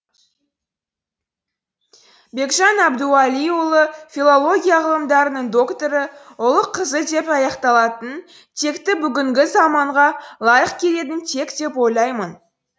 бекжан әбдуәлиұлы филология ғылымдарының докторы ұлы қызы деп аяқталатын текті бүгінгі заманға лайық келетін тек деп ойлаймын